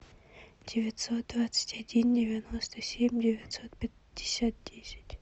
девятьсот двадцать один девяносто семь девятьсот пятьдесят десять